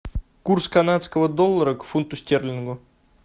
курс канадского доллара к фунту стерлингу